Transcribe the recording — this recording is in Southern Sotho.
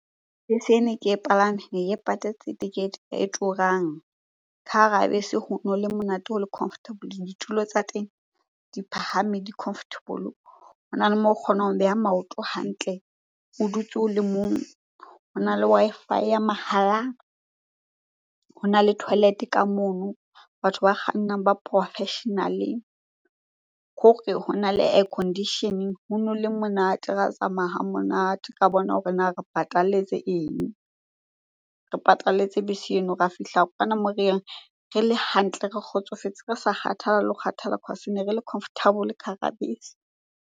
Bese ena e ke e palame patetse tekete e turang. Ka hara bese hono le monate, ho le comfortable, ditulo tsa teng di phahame di comfortable. Hona le moo o kgonang ho beha maoto hantle, o dutse o le mong. Hona le Wi-Fi ya mahala, hona le toilet-e ka mono, batho ba kgannang ba professional-e. Khore hona le air conditioning, hono le monate. Ra tsamaya hamonate, ra bona hore na re patalletse eng? Re patalletse bese eno, ra fihla kwana moo re yang re le hantle, re kgotsofetse, re sa kgathala le ho kgathala cause ne re le comfortable ka hara bese.